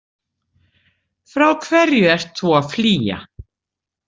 Frá hverju ert þú að flýja?